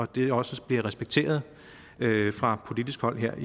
det også bliver respekteret fra politisk hold her